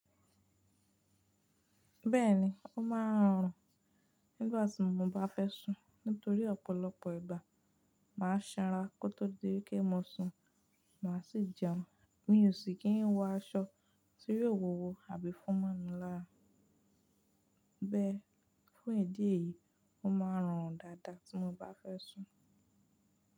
Bẹ́ẹ̀ni, ó máa ń rùn nígbàtí mo bá fẹ́ sùn nítorí ọ̀pọ̀lọpọ̀ ìgbà màá sanra kó tó di wipe mo sùn, màá sì jẹun. Mi ò sì kí n wọ aṣọ tí yóò wúwo àbí fún mọ́ mi lára. Bẹ́ẹ̀ fún ìdí èyí, ó máa ń rùn dáadáa tí mo bá fẹ́ sùn.